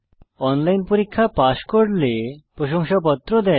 online পরীক্ষা pass করলে প্রশংসাপত্র দেওয়া হয়